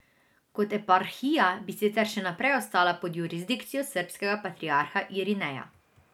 Kot eparhija bi sicer še naprej ostala pod jurisdikcijo srbskega patriarha Irineja.